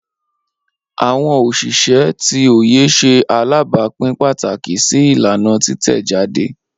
Awọn oṣiṣẹ ti oye ṣe alabapin pataki si ilana titẹjade.